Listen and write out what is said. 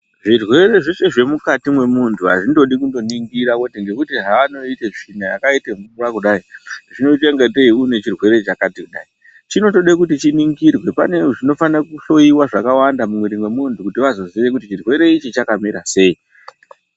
Zvirwere zveshe zvemukati mwemuntu azvingodi kungoningira nekuti zvawangoita tsvina yakaita mvura kudai zvinoita kunge une chirwere chakadai chinotods kuti chiningirwe mune zvakanda zvinenge zvichida kuhloiwa muviri mwemuntu kuti vazoziya kuti chirwere ichi chakamira sei.